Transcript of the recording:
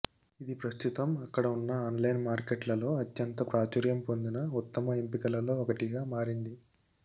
ఇది ప్రస్తుతం అక్కడ ఉన్న ఆన్లైన్ మార్కెట్లలో అత్యంత ప్రాచుర్యం పొందిన ఉత్తమ ఎంపికలలో ఒకటిగా మారింది